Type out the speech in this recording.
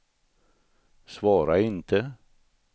svara inte